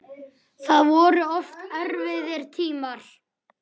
Það voru oft erfiðir tímar.